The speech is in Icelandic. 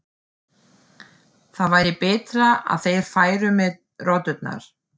Það væri betra að þeir færu með rotturnar.